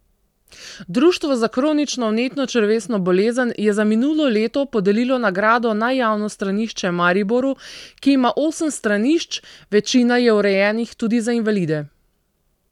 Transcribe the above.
Društvo za kronično vnetno črevesno bolezen je za minulo leto podelilo nagrado Naj javno stranišče Mariboru, ki ima osem stranišč, večina je urejenih tudi za invalide.